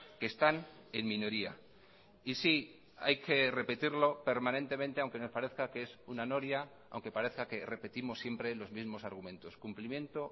que están en minoría y sí hay que repetirlo permanentemente aunque nos parezca que es una noria aunque parezca que repetimos siempre los mismos argumentos cumplimiento